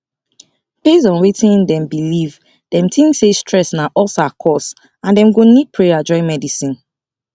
based on wetin dem believe dem think say stress na ulcer cause and dem go need prayer join medicine